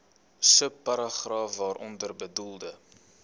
subparagraaf waaronder bedoelde